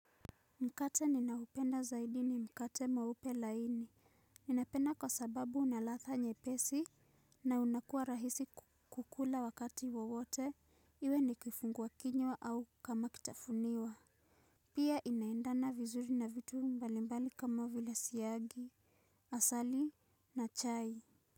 Mkate ninaoupenda zaidi ni mkate mweupe laini. Ninapenda kwa sababu inaladha nyepesi. Na unakua rahisi kukula wakati wawote iwe ni kifungua kinywa au kama kitafuniwa. Pia inaendana vizuri na vitu mbalimbali kama vile siagi, asali na chai.